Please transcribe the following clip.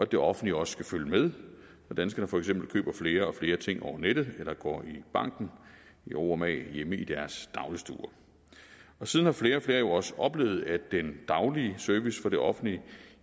det offentlige også skal følge med når danskerne for eksempel køber flere og flere ting over nettet eller går i banken i ro og mag hjemme i deres dagligstue og siden har flere og flere jo også oplevet at den daglige service fra det offentlige